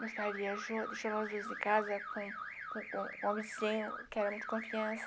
Nosso pai viajou, deixou nós dois em casa com com com o vizinho, que era muito confiança.